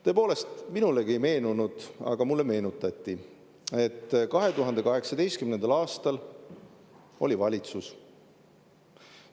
Tõepoolest, minulegi ei meenunud, aga mulle meenutati, et 2018. aastal oli valitsus.